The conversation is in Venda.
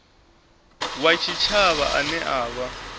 wa tshitshavha ane a vha